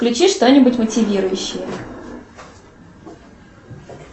включи что нибудь мотивирующее